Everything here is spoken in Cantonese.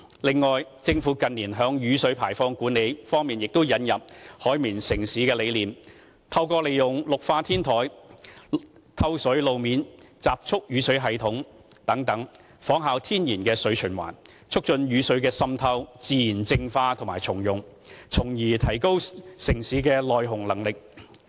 此外，政府近年在雨水排放管理方面引入"海綿城市"的理念，透過利用綠化天台、透水路面、集蓄雨水系統等，仿效天然的水循環，促進雨水的滲透、自然淨化及重用，從而提高城市的耐洪能力。